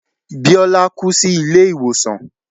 Bíọ́lá kú sí ilé ìwòsàn.